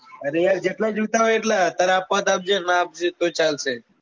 અરે યાર જેટલા જોઈતા હોય એટલા તાર આપવા હોય તો આપજે નાં આપજે તોય ચાલશે